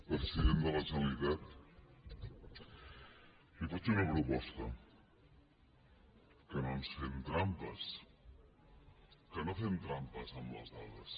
president de la generalitat li faig una proposta que no ens fem trampes que no fem trampes amb les dades